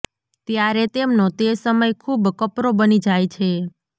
ત્યારે તેમનો તે સમય ખુબ કપરો બની જાય છે